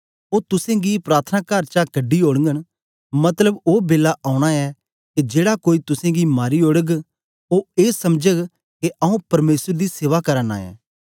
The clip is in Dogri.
ओ तुसेंगी प्रार्थनाकार चा कढी ओड़गन मतलब ओ बेला औना ऐ के जेड़ा कोई तुसेंगी मारी ओड़ग ओ ए समझग के आऊँ परमेसर दी सेवा करा नां ऐं